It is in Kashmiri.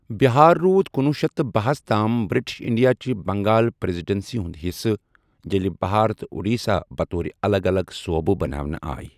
بِہار روٗد کنوُہ شیٚتھ تہٕ باہَ ہَس تام بِرٹش انڈیا چہِ بنگال پریذیڈنسی ہُنٛد حِصہٕ، ییٚلہِ بہار تہٕ اڑیسہ بطور الگ الگ صوبہٕ بناونہٕ آیہ۔